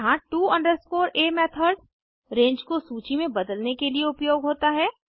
यहाँ to a method रंगे को सूची में बदलने के लिए उपयोग होता है